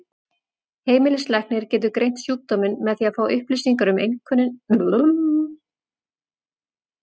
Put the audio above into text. Heimilislæknir getur greint sjúkdóminn með því að fá upplýsingar um einkennin og skoða húðina.